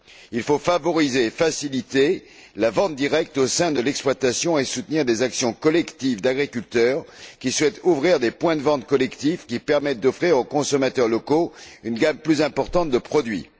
Il faut favoriser et faciliter la vente directe au sein de l'exploitation et soutenir des actions collectives d'agriculteurs qui souhaitent ouvrir des points de vente collectifs permettant d'offrir aux consommateurs locaux une gamme plus importante de produits.